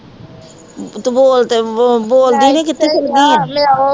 ਤੂੰ ਬੋਲ ਤੇ ਬੋਲ ਬੋਲਦੀ ਨਹੀਂ ਕਿੱਥੇ ਚੱਲ ਗਈ ਹੈ